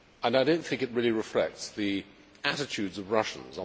I do not think it really reflects the attitudes of Russians.